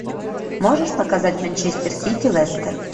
можешь показать манчестер сити лестер